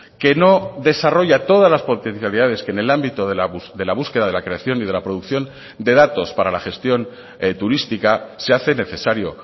que no desarrolla todas las potencialidades que en el ámbito de la búsqueda de la creación y de la producción de datos para la gestión turística se hace necesario